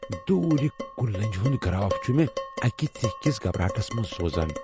دوُرِ كٗلہِ لٕنجہِ ہٗند كراف چھٗ مے٘ اكہِ ژیہہِ كِس گھبراہٹس منز سوزان ۔